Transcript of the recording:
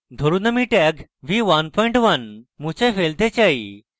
ধরুন আমি tag v11 মুছে ফেলতে say